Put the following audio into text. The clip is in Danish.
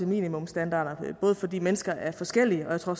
minimumsstandarder fordi mennesker er forskellige og